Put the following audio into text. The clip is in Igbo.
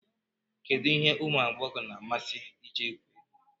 Kedu ihe ụmụ agbọghọ na-amasị iji egwu egwu